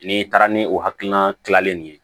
N'i taara ni o hakilina kilalen ye